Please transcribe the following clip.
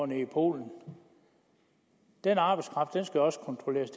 nede i polen den arbejdskraft skal også kontrolleres